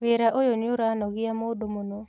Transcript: Wĩra ũyũ nĩũranogia mũndũ mũno